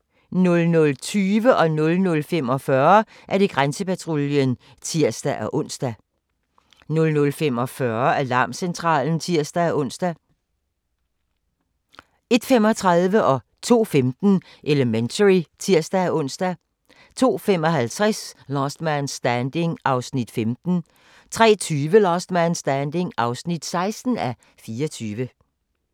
00:20: Grænsepatruljen (tir-ons) 00:45: Alarmcentralen (tir-ons) 01:35: Elementary (tir-ons) 02:15: Elementary (tir-ons) 02:55: Last Man Standing (15:24) 03:20: Last Man Standing (16:24)